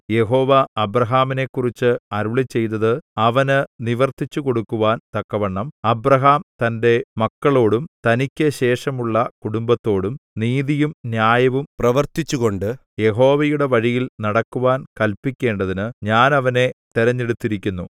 യഹോവ അബ്രാഹാമിനെക്കുറിച്ച് അരുളിച്ചെയ്തത് അവന് നിവർത്തിച്ചുകൊടുക്കുവാൻ തക്കവണ്ണം അബ്രാഹാം തന്റെ മക്കളോടും തനിക്കു ശേഷമുള്ള കുടുംബത്തോടും നീതിയും ന്യായവും പ്രവർത്തിച്ചുകൊണ്ട് യഹോവയുടെ വഴിയിൽ നടക്കുവാൻ കല്പിക്കേണ്ടതിന് ഞാൻ അവനെ തിരഞ്ഞെടുത്തിരിക്കുന്നു